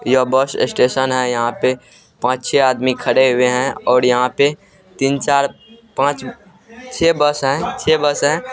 यह bus station है यहाँ पे पांच छे आदमी खड़े हुए है और यहाँ पे तीन चार पांच छे बस है छे बस है।